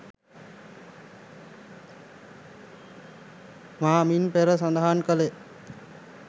මා මින් පෙර සදහන් කළේ